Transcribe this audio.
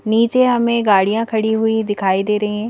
नीचे हमें गाड़ियां खड़ी हुई दिखाई दे रही हैं।